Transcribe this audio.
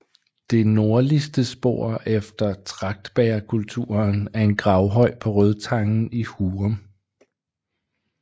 Det nordligste spor efter tragtbægerkulturen er en gravhøj på Rødtangen i Hurum